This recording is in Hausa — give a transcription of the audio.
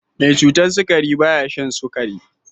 Mai cutar sukari ba ya shan sukari.